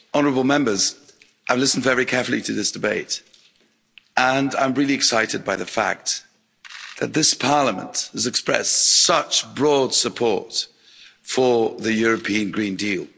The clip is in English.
Mr President, honourable Members, I've listened very carefully to this debate and I'm really excited by the fact that this Parliament has expressed such broad support for the European Green Deal.